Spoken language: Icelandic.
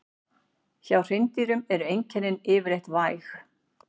Hjá hreindýrum eru einkennin yfirleitt væg.